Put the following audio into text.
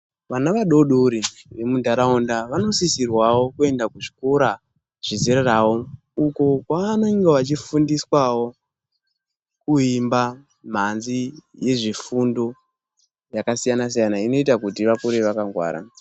Vana vadodori vamundaraunda vanosisirwawo kuenda kuzvikora zvezera ravo uko kwavane vachifundiswawo kuimba manzi yezvifundo yakasiyana siyana inoita kuti vakure vakangwara.